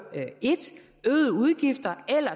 øgede udgifter eller